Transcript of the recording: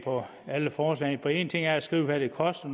af alle forslagene en ting er at skrive hvad det koster